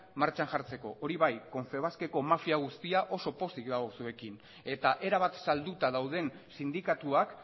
martxan jartzeko hori bai confebaskeko mafia guztia oso pozik dago zuekin eta erabat salduta dauden sindikatuak